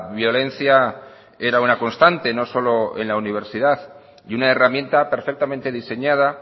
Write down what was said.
violencia era una constante no solo en la universidad y una herramienta perfectamente diseñada